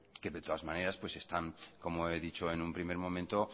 que de todas maneras están como he dicho en un primer momento